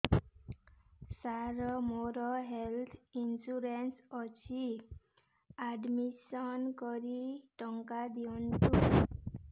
ସାର ମୋର health insurance ଅଛି admission କରି ଟଙ୍କା ଦିଅନ୍ତୁ